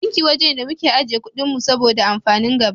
Banki waje ne da muke ajiye kuɗin mu saboda amfanin gaba.